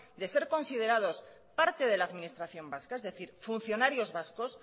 de ser considerados parte de la administración vasca es decir funcionarios vascos